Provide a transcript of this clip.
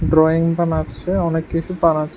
Drawing বানাচ্ছে অনেক কিছু বানাচ্ছে।